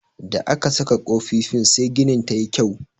Da aka saka kofifin sai ginin tayi kyau.